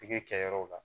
Pikiri kɛ yɔrɔw la